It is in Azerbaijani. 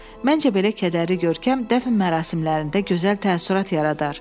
Məncə belə kədərli görkəm dəfn mərasimlərində gözəl təəssürat yaradar.